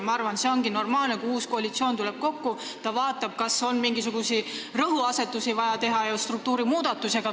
Ma arvan, et kui uus koalitsioon tuleb kokku, siis on normaalne see, et ta vaatab, kas on vaja muuta mingisuguseid rõhuasetusi ja teha struktuurimuudatusi.